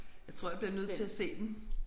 Jeg tror jeg bliver nødt til at se den